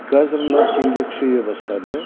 қазір мына теңге күшейе бастады